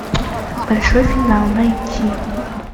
большой финал найти